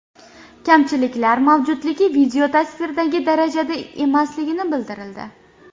Kamchiliklar mavjudligi video-tasvirdagi darajada emasligi bildirildi.